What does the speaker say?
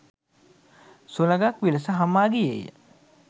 සුළඟක් විලස හමා ගියේය.